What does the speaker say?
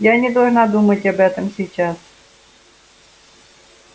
я не должна думать об этом сейчас